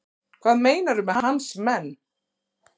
Hvað meinarðu með hans menn?